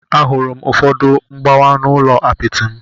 Ahụrụ m ụfọdụ mgbawa n'ụlọ apịtị m.